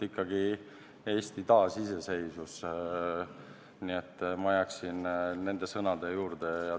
Ikkagi Eesti taasiseseisvus, nii et ma jääksin nende sõnade juurde.